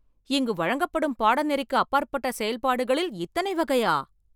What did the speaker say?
இங்கு வழங்கப்படும் பாடநெறிக்கு அப்பாற்பட்ட செயல்பாடுகளில் இத்தனை வகையா?